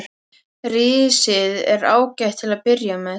Risið er ágætt til að byrja með.